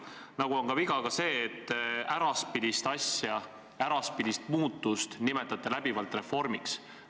Nagu on viga ka see, et te äraspidist muudatust nimetate läbivalt reformiks.